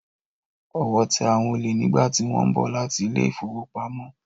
Ọwọ́ tẹ àwọn olè nígbàtí wọ́n ń bọ̀ láti ilé ìfowópamọ́.